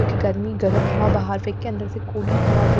कि गर्मी गर्म हवा बाहर फिर के अंदर हवा--